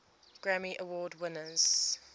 grammy award winners